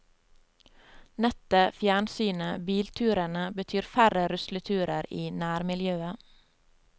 Nettet, fjernsynet, bilturene, betyr færre rusleturer i nærmiljøet.